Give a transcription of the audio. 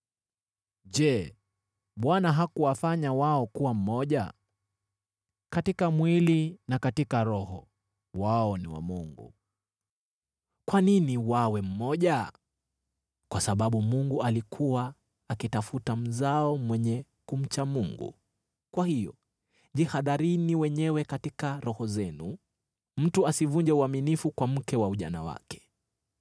Je, Bwana hakuwafanya wao kuwa mmoja? Katika mwili na katika roho wao ni wa Mungu. Kwa nini wawe mmoja? Kwa sababu Mungu alikuwa akitafuta mzao mwenye kumcha Mungu. Kwa hiyo jihadharini wenyewe katika roho zenu, mtu asivunje uaminifu kwa mke wa ujana wake.